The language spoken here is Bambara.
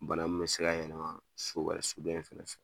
Bana min mɛ se ka yɛlɛma so wɛrɛ so dɔ in fɛnɛ fɛ